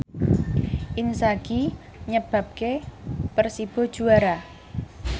Inzaghi nyebabke Persibo juara